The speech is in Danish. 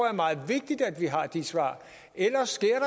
er meget vigtigt at vi har de svar ellers sker